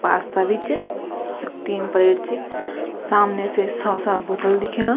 पास्ता भी चा यख तीन प्लेट च सामने से सौसा बोटल दिखेणा।